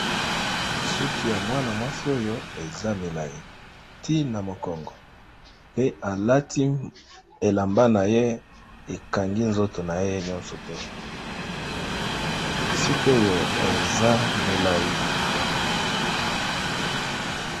Suki ya mwana mwasi oyo eza milai ntina mokongo mpe alati elamba na ye ekangi nzoto na ye nyonso te oy eza milai.